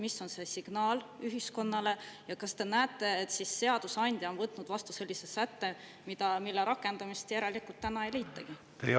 Mis on see signaal ühiskonnale ja kas te näete, et seadusandja on võtnud vastu sellise sätte, mille rakendamist järelikult täna ei leitagi?